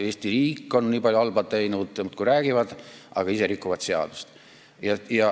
Eesti riik on nii palju halba teinud, nad muudkui räägivad sellest, aga ise rikuvad seadust.